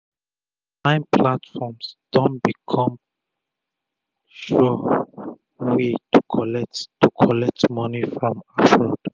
online platform don becum d sure way to collect to collect moni from abroad